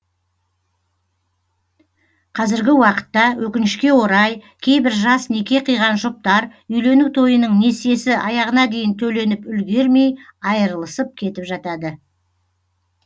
қазіргі уақытта өкінішке орай кейбір жас неке қиған жұптар үйлену тойының несиесі аяғына дейін төленіп үлгермей айырылысып кетіп жатады